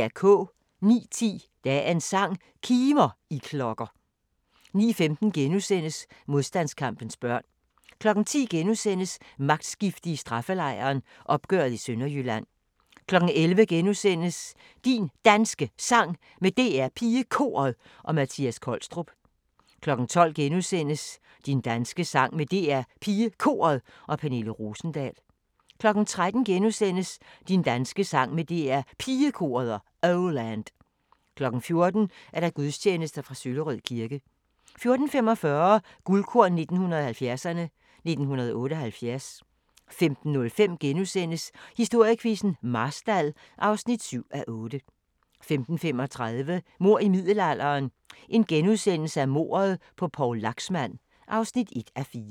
09:10: Dagens sang: Kimer, I klokker 09:15: Modstandskampens børn * 10:00: Magtskifte i straffelejren – opgøret i Sønderjylland * 11:00: Din Danske Sang med DR PigeKoret og Mattias Kolstrup * 12:00: Din danske sang med DR PigeKoret og Pernille Rosendahl * 13:00: Din danske sang med DR Pigekoret og Oh Land * 14:00: Gudstjeneste fra Søllerød kirke 14:45: Guldkorn 1970'erne: 1978 15:05: Historiequizzen: Marstal (7:8)* 15:35: Mord i middelalderen – Mordet på Poul Laxmand (1:4)*